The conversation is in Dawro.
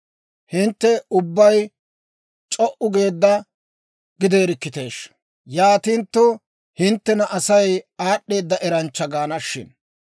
Hintte ubbay c'o"u geedda gideerikkiteeshsha! Yaatintto, hinttena Asay aad'd'eeda eranchcha gaana shin!